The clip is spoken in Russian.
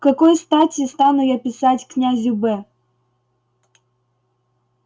к какой стати стану я писать к князю б